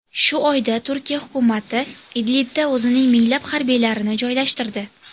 Shu oyda Turkiya hukumati Idlibda o‘zining minglab harbiylarini joylashtirdi.